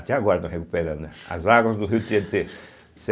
Até agora estão recuperando, né, as águas do rio Tietê.